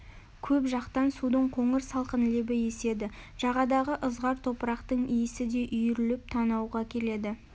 көл жақтан судың қоңыр салқын лебі еседі жағадағы ызғар топырақтың иісі де үйіріліп танауға келеді